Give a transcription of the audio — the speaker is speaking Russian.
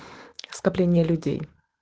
скопление людей